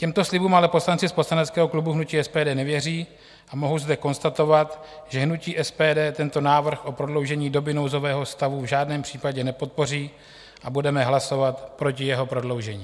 Těmto slibům ale poslanci z poslaneckého klubu hnutí SPD nevěří a mohu zde konstatovat, že hnutí SPD tento návrh o prodloužení doby nouzového stavu v žádném případě nepodpoří a budeme hlasovat proti jeho prodloužení.